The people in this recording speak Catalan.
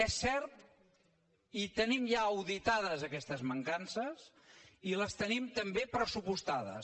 és cert i tenim ja auditades aquestes mancances i les tenim també pressupostades